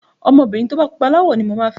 Ọmọbìnrin tó bá pupa láwọ̀ ni mo máa fẹ́.